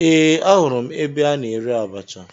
Ee, ahụrụ m ebe a na-ere abacha